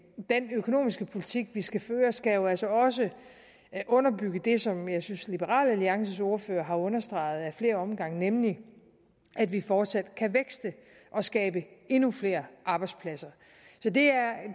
den økonomiske politik vi skal føre skal jo altså også underbygge det som jeg synes liberal alliances ordfører har understreget flere gange nemlig at vi fortsat kan vækste og skabe endnu flere arbejdspladser så det er